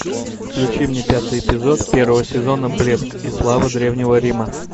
включи мне пятый эпизод первого сезона блеск и слава древнего рима